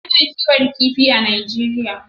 A na kiwon kifi a najeriya